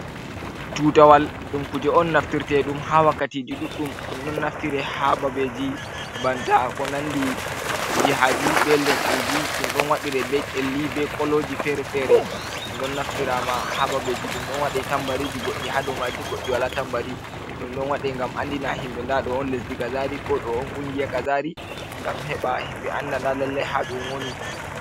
Tutawal, ɗum kuje on naftire ɗum ha wakkati ji ɗuɗɗum, ɗum ɗo naftira ha babeji banta konandi jiha I, ɓe lesdi ji, ɗum ɗo waɗire be Kelli, ɓe koloji fere fere, ɗum ɗo naftirama ha babeji ɗum ɗo waɗi tambariji goɗɗi, goɗɗi wala tambari, ɗum ɗo andina himɓe nda ɗo on lesdi kozari ko ɗo on hunde kazari, gam heɓa himɓe anda nda lalle ha ɗum woni.